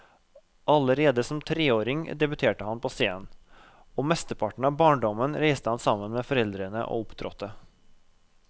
Allerede som treåring debuterte han på scenen, og mesteparten av barndommen reiste han sammen med foreldrene og opptrådte.